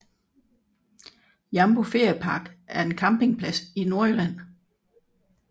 Jambo Feriepark er en campingplads i Nordjylland